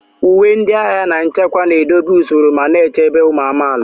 Uwe ndị agha na nchekwa na-edobe usoro ma na-echebe ụmụ amaala.